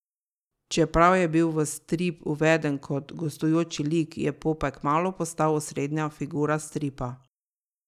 Čeprav je bil v strip uveden kot gostujoči lik, je Popaj kmalu postal osrednja figura stripa.